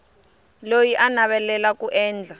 loyi a navelaka ku endla